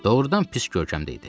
Doğrudan pis görkəmdə idi.